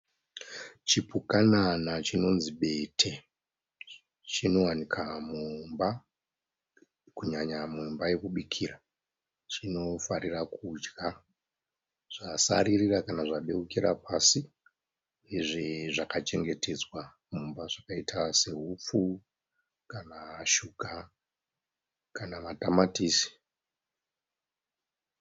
Chipukanana chinonzi bete. Chinowanika mumba. Kunyanya mumba yekubikira chinofarira kudya zvasaririra kana zvadeukira pasi. Izvi zvakachengetedzwa mumba zvakaita se upfu kana shuga kana madamatisi.